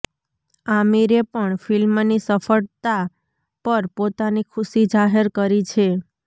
આમિરે પણ ફિલ્મની સફળતા પર પોતાની ખુશી જાહેર કરી છે